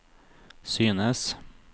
synes